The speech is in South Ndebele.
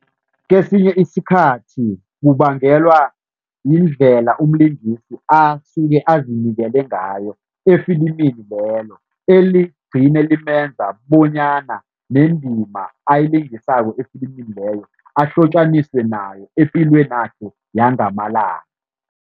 Kesinye isikhathi kubangelwa yindlela umlingisi asuke azinikele ngayo efilimini lelo, eligcine limenza bonyana nendima ayilingisako efilimini leyo, ahlotjaniswe nayo epilwenakho yangamalanga.